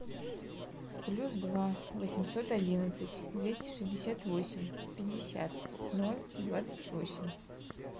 плюс два восемьсот одиннадцать двести шестьдесят восемь пятьдесят ноль двадцать восемь